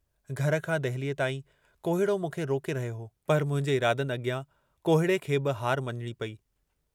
घर खां दहलीअ ताईं कोहिड़ो मूंखे रोके रहियो हो, पर मुंहिंजे इरादनि अॻियां कोहिड़े खे बि हार मञणी पेई।